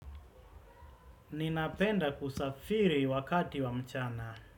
Ninapenda kusafiri wakati wa mchana.